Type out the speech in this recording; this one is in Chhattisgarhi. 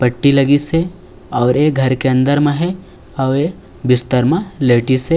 पट्टी लगिस हे और ये घर के अंदर म हे आऊ ये बिस्तर मा लेटिस हे।